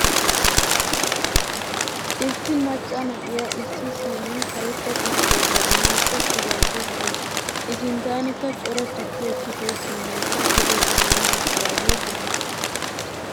Issi macca na'iyaa issi siiniyan karetta tukkiyaa jabanappe tigaydda deawusu. I sinttanikka cora tukkiyaa tiggiyo siinekka duge gufani uttidage de'ees.